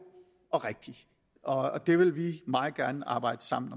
og rigtig og det vil vi meget gerne arbejde sammen